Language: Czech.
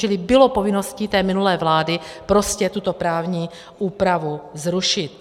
Čili bylo povinností té minulé vlády prostě tuto právní úpravu zrušit